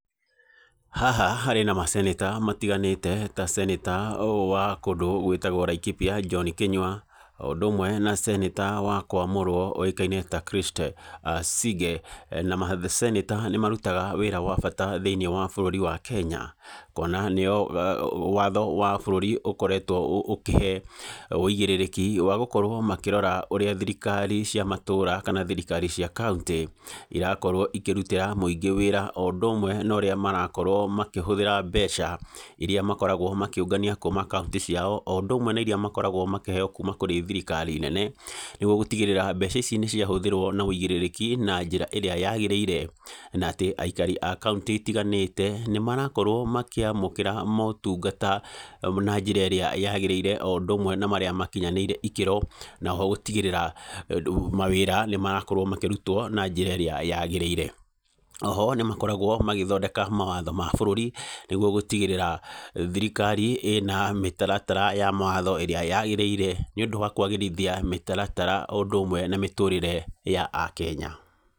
Haha harĩ na macenta matiganĩte ta centa ũyũ wa kũndũ gwĩtagwo Laikipia John Kinyua o ũndũ ũmwe na ceneta wa kwamũrwo ũĩkaine ta Christe Sige na maceneta nĩ marutaga wĩra wa bũrũri wa Kenya kuona nĩo watho wa bũrũri ũkoretwo ũkĩhe wĩigĩrĩrĩki wa gũkorwo makĩrora ũrĩa thirikari cia matũra kana thirikari cia kauntĩ irakorwo ikĩrutĩra mwĩngĩ wĩra o ũndũ ũmwe na ũrĩa marakorwo makĩhũthĩra mbeca iria makoragwo makĩũgania kuma kauntĩ cia o ũndũ ũmwe na iria makoragwo makĩheo kuma kũrĩ thirikari nene nĩguo gũtigĩrĩra mbeca ici nĩ cia hũthĩrwo na wĩigĩrĩrĩki na njĩra ĩrĩa yagĩrĩire, na atĩ aikari a kauntĩ itiganĩte nĩ marakorwo makĩamũkĩra motungata na njĩra ĩrĩa yagĩrĩire o ũndũ ũmwe na marĩa makinyanĩire ikĩro na oho gũtigĩrĩra rĩu mawĩra nĩ marakorwo makĩrutwo na njĩra ĩria yagĩrĩire oho nĩ makoragwo magĩthondeka mawatho ma bũrũri nĩguo gũtigĩrĩa thirikari ĩna mĩtaratara ya mawatho ĩrĩa yagĩrĩire nĩ ũndũ wa kwagĩrithia mĩtaratara o ũndũ ũmwe na mĩtũrire ya akenya.